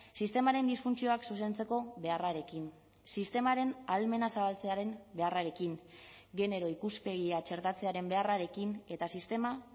sistemaren disfuntzioak zuzentzeko beharrarekin sistemaren ahalmena zabaltzearen beharrarekin genero ikuspegia txertatzearen beharrarekin eta sistema